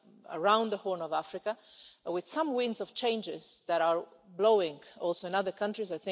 around the Horn of Africa, with some winds of change that are blowing also in other countries.